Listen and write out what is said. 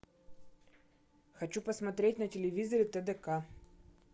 хочу посмотреть на телевизоре тдк